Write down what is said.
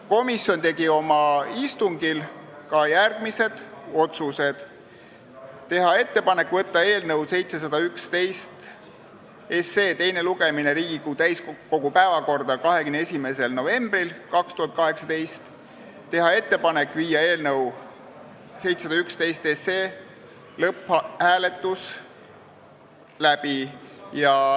Komisjon tegi oma istungil järgmised otsused: teha ettepanek saata eelnõu 711 teiseks lugemiseks Riigikogu täiskogu päevakorda 21. novembriks 2018 ja teha ettepanek viia läbi eelnõu 711 lõpphääletus.